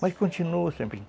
Mas continuou sempre.